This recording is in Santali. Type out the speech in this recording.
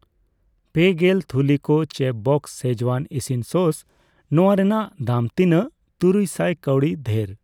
ᱯᱮᱜᱮᱞ ᱛᱷᱩᱞᱤ ᱠᱚ ᱪᱮᱯᱷᱵᱚᱥᱥ ᱥᱠᱤᱡᱣᱟᱱ ᱤᱥᱤᱱ ᱥᱚᱥ ᱱᱚᱣᱟ ᱨᱮᱱᱟᱜ ᱫᱟᱢ ᱛᱤᱱᱟᱜ ᱛᱩᱨᱩᱭ ᱥᱟᱭ ᱠᱟᱣᱰᱤ ᱫᱷᱮᱨ?